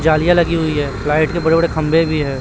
जालियां लगी हुई हैं लाइट के बड़े बड़े खंभे भी हैं।